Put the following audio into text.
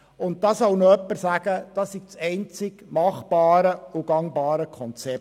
Da soll mir jemand sagen, das sei das einzig machbare und gangbare Konzept.